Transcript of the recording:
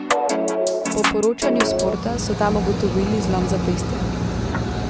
Po poročanju Sporta so tam ugotovili zlom zapestja.